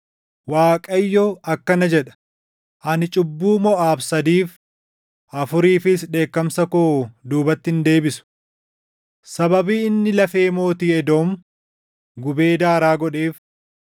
Waaqayyo akkana jedha: “Ani cubbuu Moʼaab sadiif, afuriifis dheekkamsa koo duubatti hin deebisu. Sababii inni lafee mootii Edoom gubee daaraa godheef,